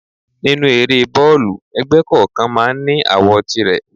Nínú eré boolu, ẹgbẹ́ kọ̀ọ̀kan máa ń ní àwo tìrẹ.